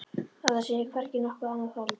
Að það sé hvergi nokkurt annað hold.